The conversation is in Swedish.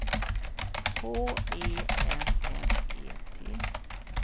H E M M E T